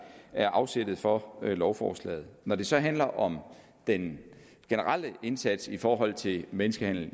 er afsættet for lovforslaget når det så handler om den generelle indsats i forhold til menneskehandel